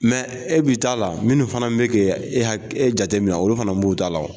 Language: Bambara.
e b'i t'a la minnu fana bɛ kɛ e e jatemina olu fana b'u t' la.